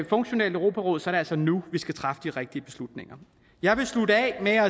funktionelt europaråd så er det altså nu vi skal træffe de rigtige beslutninger jeg vil slutte af